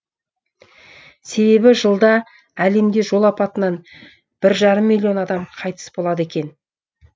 себебі жылда әлемде жол апатынан бір жарым миллион адам қайтыс болады екен